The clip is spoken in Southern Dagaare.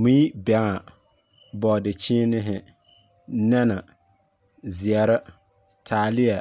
Mui, bɛŋa, bɔɔdekyeenehe , nɛne, zeɛre, taaleɛ,